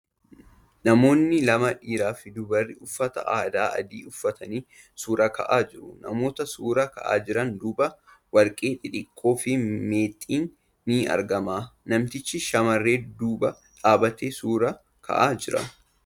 Namoonni lama dhiiraa fi dubarri uffata aadaa adii uffatanii suura ka'aa jiru. Namoota suura ka'aa jiran duuba warqee xixiqqoo fi meexxiin ni argama . Namtichi shamarree duuba dhaabbatee suura ka'aa jira.